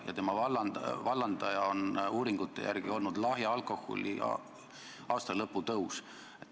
Ja selle vallandaja oli uuringute järgi lahja alkoholi aktsiisi aastalõputõus.